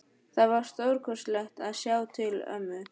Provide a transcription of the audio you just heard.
Það var stórkostlegt að sjá til ömmu.